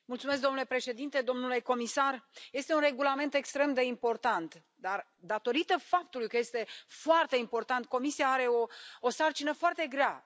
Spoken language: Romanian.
Domnule președinte, domnule comisar, este un regulament extrem de important, dar, datorită faptului că este foarte important, Comisia are o sarcină foarte grea.